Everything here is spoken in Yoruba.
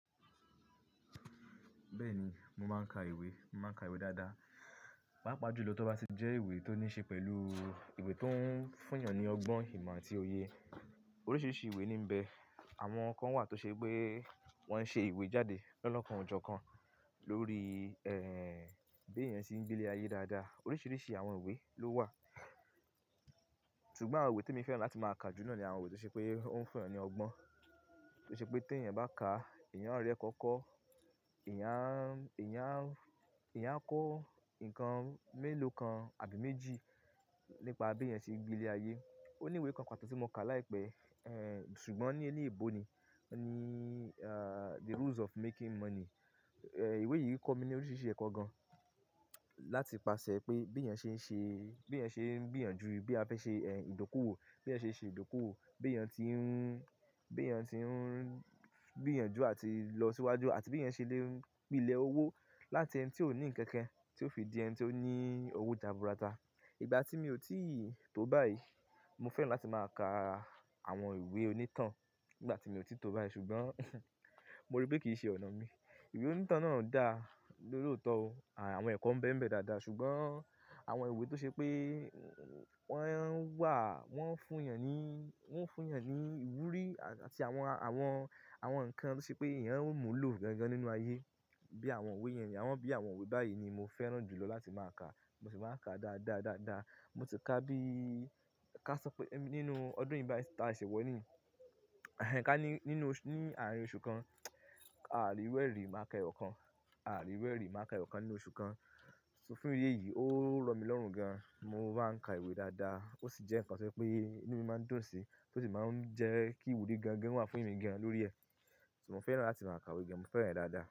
Bẹ́ẹ̀ni, mo máa ń ka ìwé. Mo máa ń ka ìwé dáadáa, pàápàá jùlọ tó bá ti jẹ́ ìwé tó ní ṣe pẹ̀lú ìwé tó ń fún èèyàn ní ọgbọ́n, ìmọ̀ àti òye. Oríṣiríṣi ìwé níì ń bẹ. Àwọn kan wà tó ṣe pé wọ́n ṣe ìwé jáde lo'lookàn ọjọ́ kan lórí, ẹ́ẹ́, bí èèyàn ṣe ń gbilé ayé dáadáa. Oríṣiríṣi àwọn ìwé ló wà, ṣùgbọ́n àwọn ìwé tí mo fẹ́ràn láti máa kà jù lọ ni àwọn ìwé tó ṣe pé ó ń fún èèyàn ní ọgbọ́n, tó ṣe pé tí èèyàn bá ka, èèyàn á rí ẹ̀kọ́ kọ́, èèyàn, èèyàn, èèyàn kọ́ nǹkan mélòó kan àbí méjì nípa bí èèyàn ṣe ń gbilé ayé. Ó ní ìwé kan pàtó tí mo kà láìpẹ́, ẹ́ẹ́, ṣùgbọ́n ní inú ìbò ni, ni, ààh, "The Rules of Making Money." Ẹ̀ẹ́, ìwé yìí kọ́ mi ní oríṣiríṣi ẹ̀kọ́ gan-an láti pàṣẹ pé bí èèyàn ṣe ń ṣe, bí èèyàn ṣe ń gbìyànjú bí a fẹ́ ṣe, ẹ́ẹ́, ìdókòwò, bí èèyàn ṣe ṣe ìdókòwò, bí èèyàn tí ń, bí èèyàn tí ń gbìyànjú àti lọ síwájú àti bí èèyàn ṣe lè gbin ilẹ̀ owó láti ẹni tí ó ní ǹkankan tí ó fi di ẹni tó ní owó jàbúrátà. Ìgbà tí mi ò tíì tó báyìí, mo fẹ́ràn láti máa ka àwọn ìwé onítàn nígbà tí mi ò tí tó báyìí ṣùgbọ́n, mo rí pé kì í ṣe ọ̀nà mi. Ìwé onítàn náà dà lóòótọ́ o. Àwọn ẹ̀kọ́ ń bẹ́ ẹ̀ bẹ́ dáadáa ṣùgbọ́n àwọn ìwé tó ṣe pé wọ́n wà, wọ́n ń fún èèyàn ní, wọ́n ń fún èèyàn ní ìwúrí àti àwọn, àwọn, àwọn nǹkan tó ṣe pé èèyàn ó múlò gan-an nínú ayé bí àwọn ìwé yẹn ni. Àwọn bí àwọn ìwé báyìí ni mo fẹ́ràn jùlọ láti máa ka. Mo sì máa ń ka dáadáa, dáadáa. Mo ti kà bí i kà sọ pé nínú ọdún yìí bá ti máa ṣẹ̀wọ ní, ẹ́ẹ́, kà ní, nínú, ní àárín oṣù kan, ààri ìru e ri máa ka ẹ̀yọkan, ààri ìru e rì máa ka ẹ̀yọkan nínú oṣù kan. So fún ìyè yìí ó rọ mí lọ́rùn gan-an. Mo máa ń ka ìwé dáadáa. Ó sì jẹ́ nǹkan tí ẹ pé inú mi máa dùn sí tó sì máa ń jẹ́ kí ìwúrí gan-an wà fún mi gan-an lórí ẹ. So mo fẹ́ràn láti máa ka ìwé gan-an. Mo fẹ́ràn ẹ dáadáa.